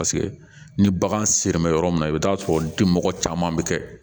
Paseke ni bagan sera yɔrɔ min na i bɛ t'a sɔrɔ dimɔgɔ caman bɛ kɛ